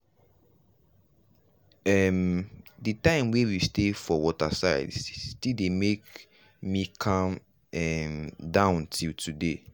um the time wey we stay for waterside still dey make calm um down till today.